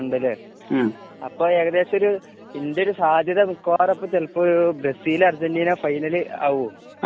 ഉണ്ടല്ലേ? അപ്പോൾ ഏകദേശം ഒരു ഇതിൻ്റെയൊരു സാധ്യത മിക്കവാറും ചിലപ്പോളൊരു ബ്രസീൽ അര്ജന്റീനാ ഫൈനൽ ആവുമോ?